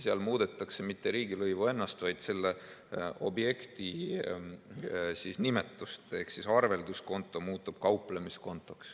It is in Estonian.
Seal muudetakse mitte riigilõivu ennast, vaid selle objekti nimetust ehk arvelduskonto muutub kauplemiskontoks.